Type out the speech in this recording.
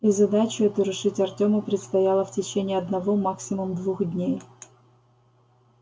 и задачу эту решить артему предстояло в течение одного максимум двух дней